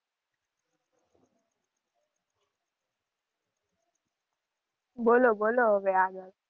બોલો બોલો હવે આગળ.